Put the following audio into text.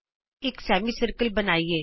ਆਉ ਇਕ ਅਰਧ ਗੋਲਾ ਖਿੱਚੀਏ